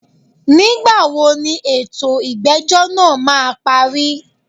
Nígbà wo ni ètò ìgbẹ́jọ́ náà má a parí?